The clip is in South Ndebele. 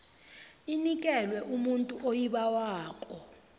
inikelwe umuntu oyibawako